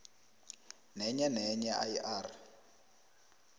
nenyenenye i r